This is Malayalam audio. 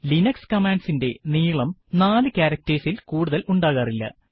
ലിനക്സ് കമാൻഡ്സ് ഇൻറെ നീളം നാല് ക്യാരക്ടർസ് ഇൽ കൂടുതൽ ഉണ്ടാകാറില്ല